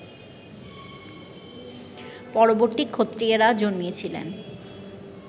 পরবর্তী ক্ষত্রিয়েরা জন্মিয়াছিলেন